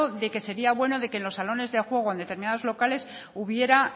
de que sería bueno que en los salones de juegos en determinados locales hubiera